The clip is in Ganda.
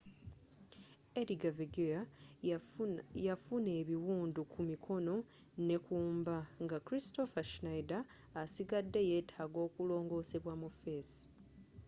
edgar veguilla yafuna ebiwundu kumikono nekumba nga kristoffer schneider asigadde yetaaga okulongoosebwa mu fesi